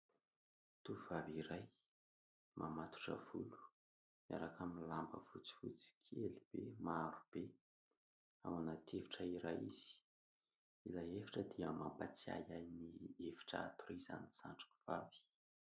Tovovavy iray mamatotra volo miaraka amin'ny lamba fotsifotsy kely be maro be, ao anaty efitra iray izy, ilay efitra dia mampatsiahy ahy ny efitra hatorizan'ny zandriko vavy.